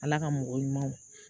Ala ka mɔgɔ ɲumanw